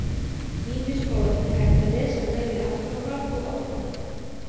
Ýmis orð er hægt að lesa bæði aftur á bak og áfram.